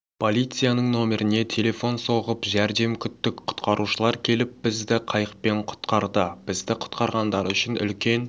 полицияның нөміріне телефон соғып жәрдем күттік құтқарушылар келіп бізді қайықпен құтқарды бізді құтқарғандары үшін үлкен